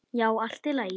Já, allt í lagi.